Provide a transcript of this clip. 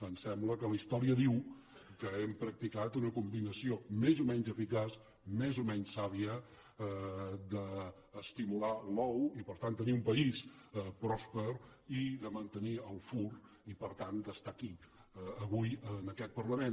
em sembla que la història diu que hem practicat una combinació més o menys eficaç més o menys sàvia d’estimular l’ou i per tant tenir un país pròsper i de mantenir el fur i per tant d’estar aquí avui en aquest parlament